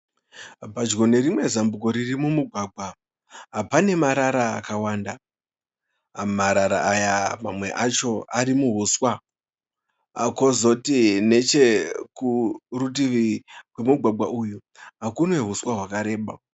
Padyo perimwe zambuko riri mumugwagwa pane marara akawanda .Marara aya mamwe acho ari muhuswa, kozoti nechekurutivi rwemugwagwa uyu kune huswa hwakareba.